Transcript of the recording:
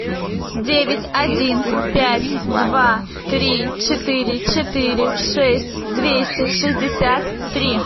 девять один пять два три четыре четыре шесть двести шестьдесят три